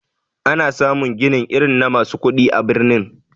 Ana samun ginin irin na masu kudi a birni.